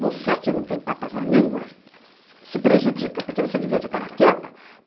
Você, que não tem papas na língua, se prejudica, porque você devia ficar quieta.